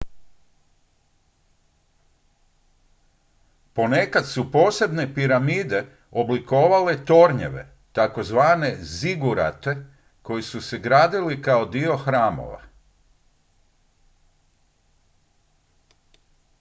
ponekad su posebne piramide oblikovale tornjeve tzv zigurate koji su se gradili kao dio hramova